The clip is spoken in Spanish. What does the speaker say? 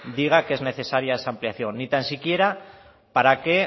diga que es necesaria esa ampliación ni tan siquiera para que